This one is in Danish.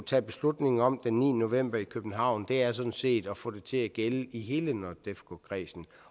tage beslutning om den niende november i københavn er sådan set at få det til at gælde i hele nordefco kredsen